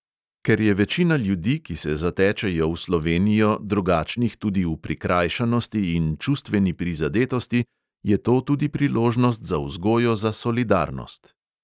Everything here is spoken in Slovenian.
Ker je večina ljudi, ki se zatečejo v slovenijo, drugačnih tudi v prikrajšanosti in čustveni prizadetosti, je to tudi priložnost za vzgojo za solidarnost.